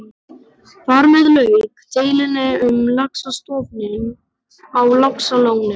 Þar með lauk deilunni um laxastofninn á Laxalóni.